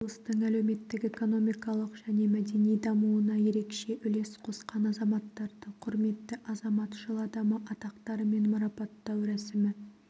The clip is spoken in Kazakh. облыстың әлеуметтік-экономикалық және мәдени дамуына ерекше үлес қосқан азаматтарды құрметті азамат жыл адамы атақтарымен марапаттау рәсімі